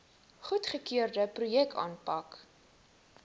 goedgekeurde projekte aanpak